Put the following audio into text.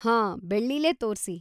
ಹಾಂ, ಬೆಳ್ಳಿಲೇ ತೋರ್ಸಿ.